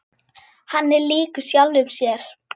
Hann er líkur sjálfum sér.